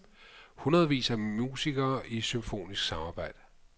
Hundredvis af musikere i symfonisk samarbejde.